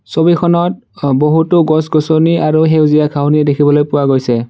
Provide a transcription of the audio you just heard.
ছবিখনত অহ বহুতো গছ-গছনি আৰু সেউজীয়া ঘাঁহনি দেখিবলৈ পোৱা গৈছে।